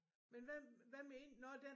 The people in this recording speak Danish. Men hvad hvad med ind nåh der